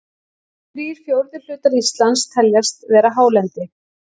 Þrír fjórðu hlutar Íslands teljast vera hálendi.